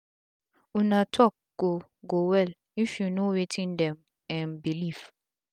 una talk go go well if u knw wetin dem um belief